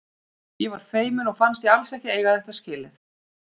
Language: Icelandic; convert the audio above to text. Ég var feimin og fannst ég alls ekki eiga þetta skilið.